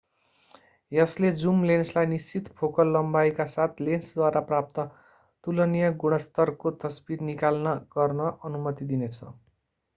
यसले जुम लेन्सलाई निश्चित फोकल लम्बाइका साथ लेन्सद्वारा प्राप्त तुलनीय गुणस्तरको तस्बिर निकाल्न गर्न अनुमति दिन्छ